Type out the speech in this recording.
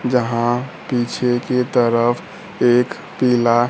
जहां पीछे की तरफ एक पीला--